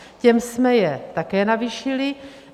Těm jsme je také navýšili.